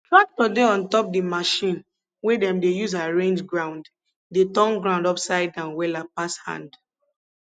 tractor dey on top di machine wey dem dey use arrange ground dey turn ground upside down wella pass hand